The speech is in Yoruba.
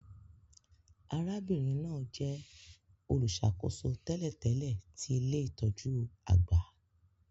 Arábìnrin náà jẹ olùṣàkóso tẹ́lẹ̀tẹ́lẹ̀ ti ilé-itọju àgbà